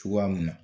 Cogoya mun na